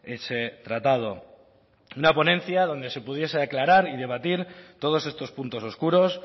ese tratado una ponencia donde se pudiese aclarar y debatir todos estos puntos oscuros